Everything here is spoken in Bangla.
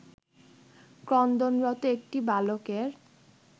ক্রন্দনরত একটি বালকের